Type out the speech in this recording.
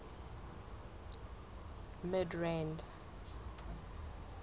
midrand